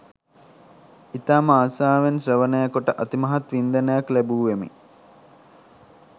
ඉතාම ආසාවෙන් ශ්‍රවණය කොට අතිමහත් වින්දනයක් ලැබූවෙමි